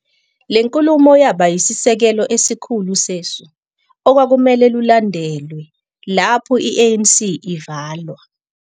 Le nkulumo yaba yisisekelo esikhulu sesu okwakumele lulandelwe lapho i-ANC ivalwa.